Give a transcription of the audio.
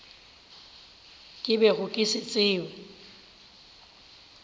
ke bego ke se tseba